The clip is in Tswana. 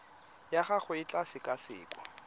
ya gago e tla sekasekwa